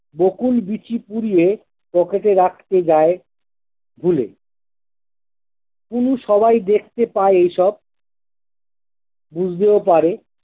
বকুল বিচি পুড়িয়ে পকেটে রাখতে যায় ভুলে, কুনু সবাই দেখতে পায় এসব বুঝতেও পারে